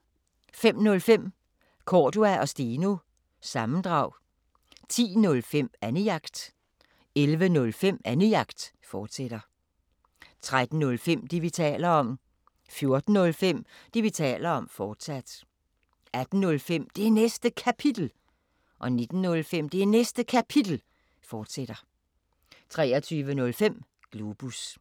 05:05: Cordua & Steno – sammendrag 10:05: Annejagt 11:05: Annejagt, fortsat 13:05: Det, vi taler om 14:05: Det, vi taler om, fortsat 18:05: Det Næste Kapitel 19:05: Det Næste Kapitel, fortsat 23:05: Globus